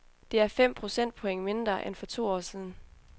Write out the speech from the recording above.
Det er fem procentpoint mindre end for to år siden.